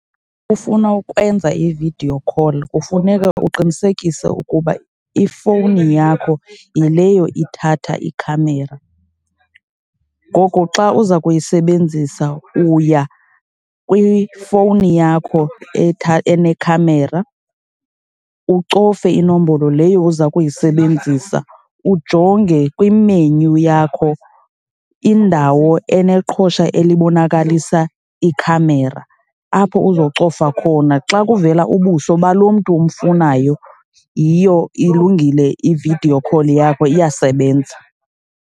Ufuna ukwenza i-video call kufuneka uqinisekise ukuba ifowuni yakho yileyo ithatha ikhamera. Ngoko xa uza kuyisebenzisa uya kwifowuni yakho enekhamera ucofe inombolo leyo uza kuyisebenzisa, ujonge kimenyu yakho indawo eneqhosha elibonakalisa ikhamera apho uzocofa khona. Xa kuvela ubuso balo mntu umfunayo, yiyo ilungile i-video call yakho iyasebenza.